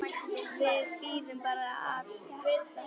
Við bíðum bara átekta.